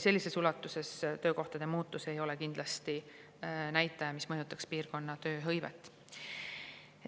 Sellises ulatuses töökohtade arvu muutus ei ole kindlasti näitaja, mis mõjutaks piirkonna tööhõivet.